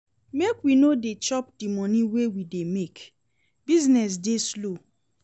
Make we no dey chop di moni wey we dey make, business dey slow.